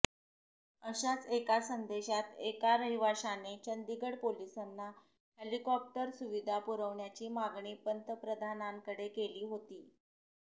अशाच एका संदेशात एका रहिवाशाने चंदीगड पोलिसांना हेलिकॉप्टर सुविधा पुरवण्याची मागणी पंतप्रधानांकडे केली होती